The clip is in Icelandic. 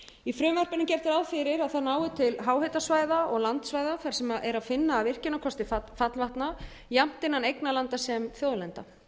gert ráð fyrir að það nái til háhitasvæða og landsvæða þar sem er að finna virkjunarkosti fallvatna jafnt innan eignarlanda sem þjóðlenda